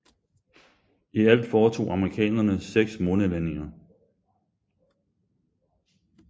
I alt foretog amerikanerne 6 månelandinger